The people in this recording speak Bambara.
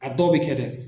A dɔw bɛ kɛ dɛ